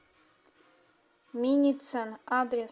миницен адрес